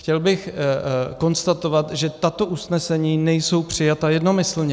Chtěl bych konstatovat, že tato usnesení nejsou přijata jednomyslně.